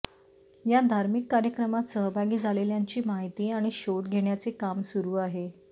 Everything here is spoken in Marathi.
या धार्मिक कार्यक्रमात सहभागी झालेल्यांची माहिती आणि शोध घेण्याचे काम सुरू आहे